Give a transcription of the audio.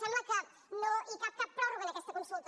sembla que no hi cap cap pròrroga en aquesta consulta